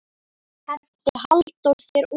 Henti Halldór þér út?